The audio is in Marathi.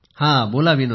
बोला विनोले